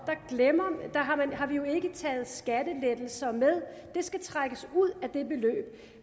har vi jo ikke taget skattelettelser med det skal trækkes ud af det beløb